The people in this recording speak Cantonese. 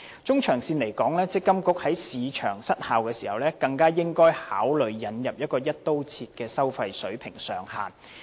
中長線而言，強制性公積金計劃管理局在市場失效時更應該考慮引入"一刀切"的收費水平上限。